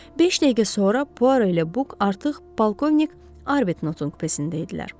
Beş dəqiqə sonra Puaro ilə buk artıq balkovnik Arbetnotun kupesində idilər.